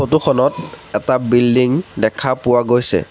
Photo খনত এটা building দেখা পোৱা গৈছে।